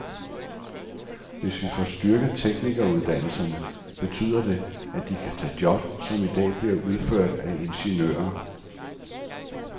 Hvis vi får styrket teknikeruddannelserne, betyder det, at de kan tage job, som i dag bliver udført af ingeniører.